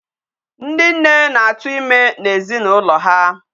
Ndi nne na-atu ime n'ezinụlọ ha.